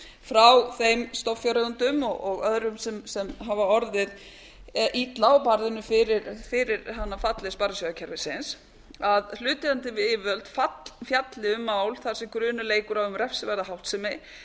frá þeim stofnfjáreigendum og öðrum sem hafa orðið illa fyrir barðinu á falli sparisjóðakerfisins að hlutaðeigandi yfirvöld fjalli um mál þar sem grunur leikur á um refsiverða háttsemi